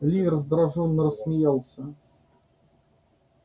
ли раздражённо рассмеялся